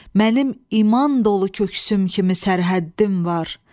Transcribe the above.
Mənim iman dolu köksüm kimi sərhəddim var.